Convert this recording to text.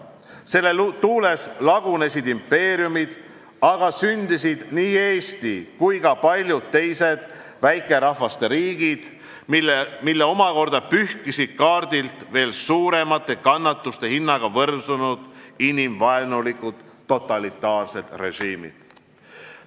Selle sõja tuules lagunesid impeeriumid, aga sündisid nii Eesti riik kui ka paljude teiste väikerahvaste riigid, mille omakorda pühkisid kaardilt veel suuremate kannatuste hinnaga võrsunud inimvaenulikud totalitaarsed režiimid.